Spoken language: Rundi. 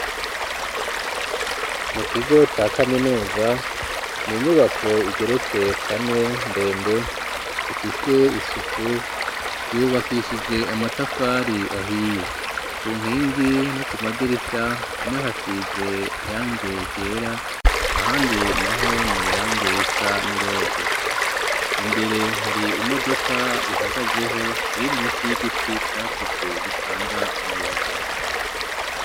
Mu kigo ca kaminuza, ni inyubako igeretse kane, ndende ifise isuku yubakishije amatafari ahiye ,ku nkingi no ku madirisha amwe ahasize irangi ryera, ahandi naho ni irangi risa niroze ,imbere hari imodoka ihagazeho ,iri munsi y'igiti cakutse gitanga umuyaga.